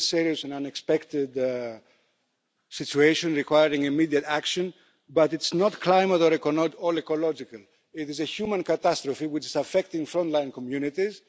It is a serious and unexpected situation requiring immediate action, but it's not climate or ecological. It is a human catastrophe which is affecting frontline communities.